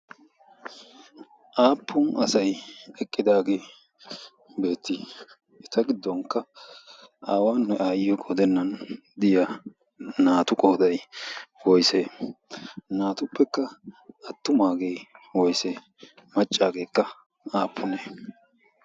Aappun asayi eqqidaagee beettii? Eta giddonkka aawaanne aayyiyi qoodennan diya naatu qoodayi woysee? Naatuppekka attumaagee woysee maccaageekka aappuneee?